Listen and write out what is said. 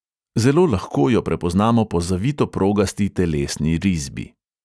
Zelo lahko jo prepoznamo po zavito progasti telesni risbi.